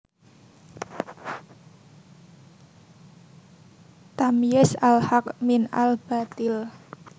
Tamyiz al Haqq min al Bathil